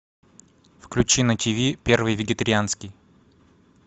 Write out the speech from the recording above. включи на ти ви первый вегетарианский